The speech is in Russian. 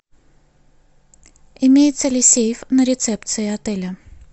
имеется ли сейф на рецепции отеля